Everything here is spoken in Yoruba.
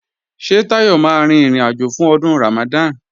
Ṣé Táyọ̀ máa rin ìrìnàjò fún Ọdún Ramadan?